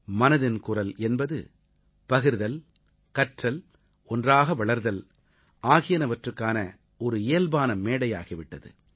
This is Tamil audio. மனதின் குரல் என்பது பகிர்தல் கற்றல் ஒன்றாக வளர்தல் ஆகியனவற்றுக்கான ஒரு இயல்பான மேடையாகி விட்டது